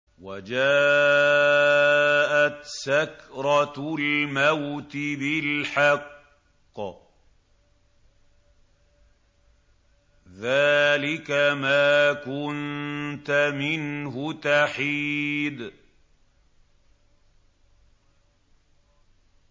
وَجَاءَتْ سَكْرَةُ الْمَوْتِ بِالْحَقِّ ۖ ذَٰلِكَ مَا كُنتَ مِنْهُ تَحِيدُ